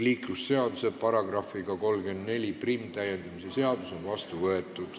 Liiklusseaduse § 341 täiendamise seadus on vastu võetud.